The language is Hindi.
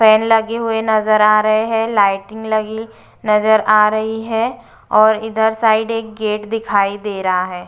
फैन लगे हुई नजर आ रहे हैं लाइटिंग लगी नजर आ रही है और इधर साइड एक गेट दिखाई दे रहा है।